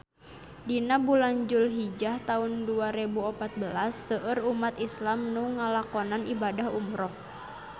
Dina bulan Julhijah taun dua rebu opat belas seueur umat islam nu ngalakonan ibadah umrah